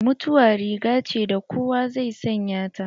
Mutuwa rigace da kowa zai sanya ta.